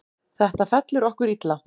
Þetta fellur okkur illa.